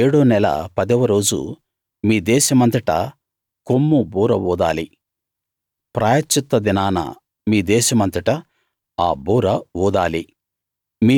ఏడో నెల పదవ రోజు మీ దేశమంతటా కొమ్ము బూర ఊదాలి ప్రాయశ్చిత్త దినాన మీ దేశమంతటా ఆ బూర ఊదాలి